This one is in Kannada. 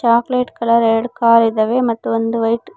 ಚಾಕ್ಲೆಟ್ ಕಲರ್ ಎರಡ್ ಕಾರ್ ಇದಾವೆ ಮತ್ತು ಒಂದು ವೈಟ್ --